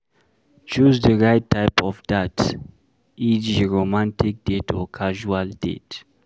Choose di right type of dat eg romantic date or casual date